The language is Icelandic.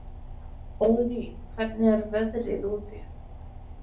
Óðný, hvernig er veðrið úti?